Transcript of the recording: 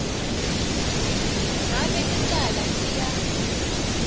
ngabe licala liya